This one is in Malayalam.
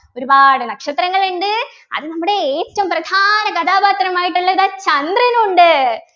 ഒരുപാട് നക്ഷത്രങ്ങൾ ഉണ്ട് അത് നമ്മുടെ ഏറ്റവും പ്രധാന കഥാപാത്രമായിട്ടുള്ളത് ചന്ദ്രനുണ്ട്